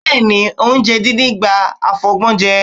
Bẹ́ẹ̀, oúnjẹ díndín gba àfọgbọ́njẹ.